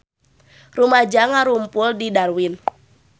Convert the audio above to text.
Rumaja ngarumpul di Darwin